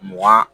Mugan